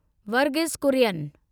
Varghese Kurien